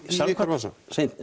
í ykkar vasa